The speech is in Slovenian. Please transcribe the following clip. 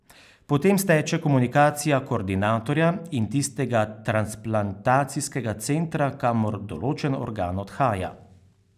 Potem steče komunikacija koordinatorja in tistega transplantacijskega centra, kamor določen organ odhaja.